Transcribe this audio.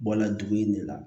Bɔla dugu in de la